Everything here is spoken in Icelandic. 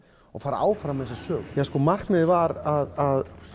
og fara áfram með þessa sögu markmiðið var að